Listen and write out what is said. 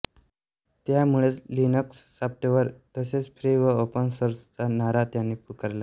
त्यामुळेच Linux software तसेच free व ओपन सोर्सचा नारा त्यांनी पुकारला